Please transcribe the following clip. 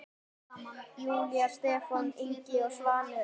Júlía, Stefán Ingi og Svanur.